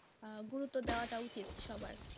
আহ গুরুত্ব দেওয়াটা উচিত সবার।